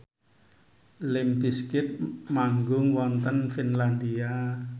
limp bizkit manggung wonten Finlandia